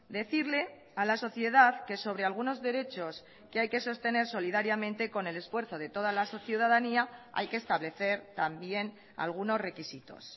decirle a la sociedad que sobre algunos derechos que hay que sostener solidariamente con el esfuerzo de toda la ciudadanía hay que establecer también algunos requisitos